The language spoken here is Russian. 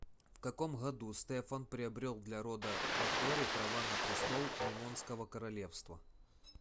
в каком году стефан приобрел для рода батори права на престол ливонского королевства